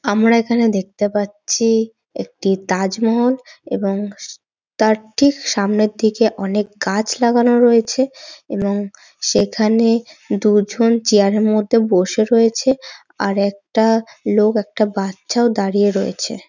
আমরা এখানে দেখতে পাচ্ছি-ই একটি তাজমহল এবং তার ঠিক সামনের দিকে অনেক গাছ লাগানো রয়েছে এবং সেখানে দুজন চেয়ার -এর মধ্যে বসে রয়েছে আর একটা লোক একটা বাচ্চাও দাঁড়িয়ে রয়েছে।